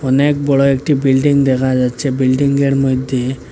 অনেক বড় একটি বিল্ডিং দেখা যাচ্ছে বিল্ডিংয়ের মইধ্যে--